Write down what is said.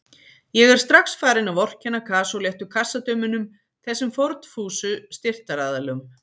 Ég er strax farinn að vorkenna kasóléttu kassadömunum, þessum fórnfúsu styrktaraðilum